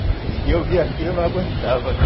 E eu via aquilo e não aguentava, né?